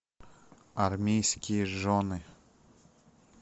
армейские жены